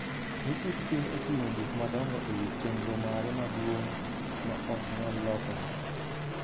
ni chik piny oting’o gik madongo e wi chenro mare maduong’ ma ok nyal lokore.